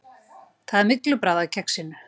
Það er myglubragð af kexinu.